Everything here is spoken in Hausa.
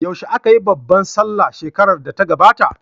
Yaushe aka yi babbar sallah shekarar da ta gabata?